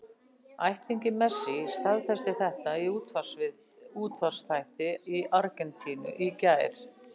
Ættingi Messi staðfesti þetta í útvarpsþætti í Argentínu í gær.